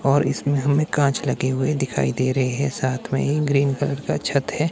और इसमें हमें कांच लगे हुए दिखाई दे रहे हैं साथ में ही ग्रीन कलर का छत है।